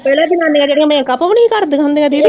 ਪਹਿਲਾ ਜਨਾਨੀਆਂ ਜਿਹੜੀਆਂ ਮੈਕਅਪ ਵੀ ਨਹੀਂ ਹੀ ਕਰਦੀਆਂ ਹੁੰਦੀਆਂ ਦੀਦੀ